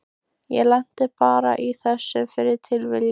Ég lenti bara í þessu fyrir tilviljun.